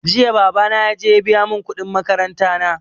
Jiya babana ya je ya biya mun kuɗin makaranta na